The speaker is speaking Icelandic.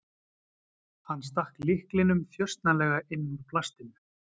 Hann stakk lyklinum þjösnalega inn úr plastinu.